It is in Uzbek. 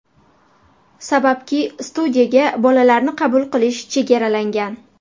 Sababki studiyaga bolalarni qabul qilish chegaralangan.